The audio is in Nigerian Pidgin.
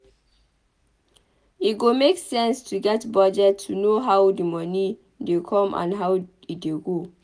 E go make sense to get budget to know how di moni dey come and how e dey go